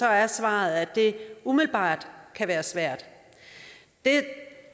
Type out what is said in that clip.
er svaret at det umiddelbart kan være svært det